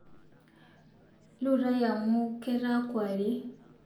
Lurai amu ketaa kuarie